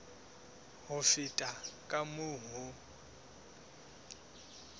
ho feta ka moo ho